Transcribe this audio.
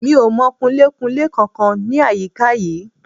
Mi ò mọ Kunlé-kunlé kankan ní àyíká yìí.